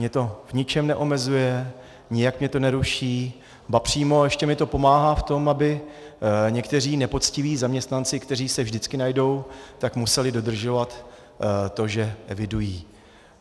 Mě to v ničem neomezuje, nijak mě to neruší, ba přímo ještě mi to pomáhá v tom, aby někteří nepoctiví zaměstnanci, kteří se vždycky najdou, tak museli dodržovat to, že evidují.